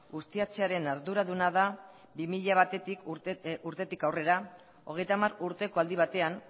ustiatzearen arduraduna da bi mila batetik urtetik aurrera hogeita hamar urteko aldi batean